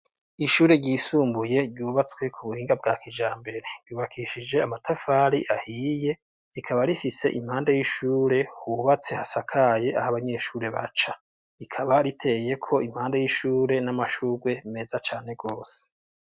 Ishure ryisumbuye ryubatswe ku buhinga bwa kijambere ryubakishije amatafari ahiye. Rikaba rifise impanda y'ishure hubatse hasakaye aho abanyeshure baca. Rikaba riteyeko impande y'ishure n'amashurwe meza cane gose.